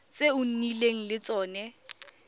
tse o nnileng le tsone